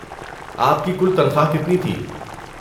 آپ کی کل تنخواہ کتنی تھی؟